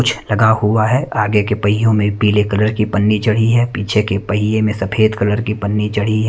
कुछ लगा हुआ है। आगे के पहियों में पीले कलर की पन्नी चढ़ी है पीछे के पहिए में सफेद कलर की पन्नी चढ़ी है।